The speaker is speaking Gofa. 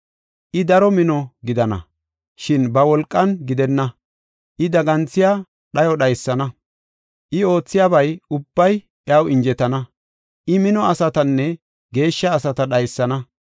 I daro mino gidana; shin ba wolqan gidenna. I daganthiya dhayo dhaysana; I oothiyaba ubbay iyaw injetana. I mino asatanne geeshsha asata dhaysana.